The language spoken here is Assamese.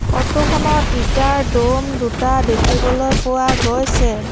ফটো খনত ইটাৰ দ'ম দুটা দেখিবলৈ পোৱা গৈছে।